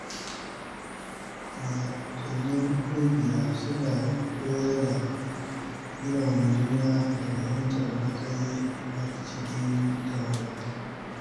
Wasannin ƙungiya suna koyar da girmama juna da fahimtar matsayi a cikin tawaga.